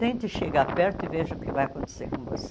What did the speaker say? Tente chegar perto e veja o que vai acontecer com você.